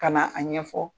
Ka na a ɲɛfɔ